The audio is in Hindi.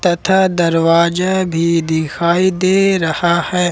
तथा दरवाजा भी दिखाई दे रहा है।